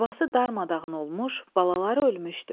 Yuvası darmadağın olmuş, balaları ölmüşdü.